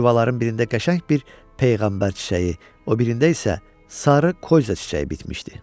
Bu yuvaların birində qəşəng bir peyğəmbər çiçəyi, o birində isə sarı koyza çiçəyi bitmişdi.